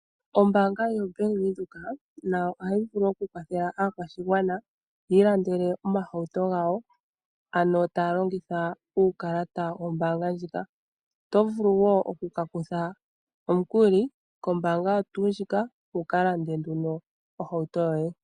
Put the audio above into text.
Ombaanga yoBank Windhoek nayo ohayi vulu okukwathela aakwashigwana yiilandele omahauto gayo, ano taya longitha uukalata wombaanga ndjika. Oto vulu wo oku kutha omukuli kombaanga oyo tuu ndjika, wukalande ohauto yoye.